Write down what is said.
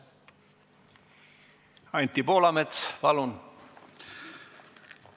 Anti Poolamets, palun!